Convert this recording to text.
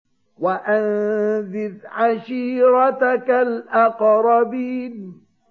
وَأَنذِرْ عَشِيرَتَكَ الْأَقْرَبِينَ